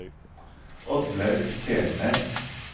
Oddlaug Selnes